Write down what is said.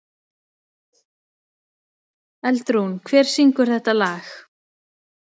Eldrún, hver syngur þetta lag?